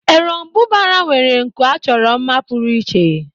Eròmbụbara nwere nku achọrọ mma pụrụ iche.